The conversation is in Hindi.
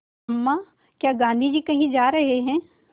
अम्मा क्या गाँधी जी कहीं जा रहे हैं